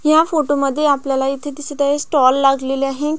ह्या फोटो मध्ये आपल्याला इथे दिसत आहे स्टॉल लागलेला आहे.